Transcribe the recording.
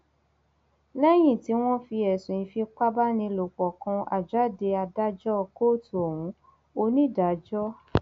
lẹyìn tí wọn fi ẹsùn ìfipábánilòpọ kan àjáde adájọ kóòtù ohun onídàájọsh